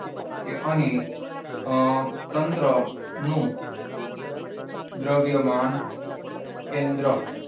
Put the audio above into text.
કે અહીં અમ તંત્રનું દ્રવ્યમાન કેન્દ્ર.